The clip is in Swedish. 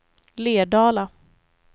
Lerdala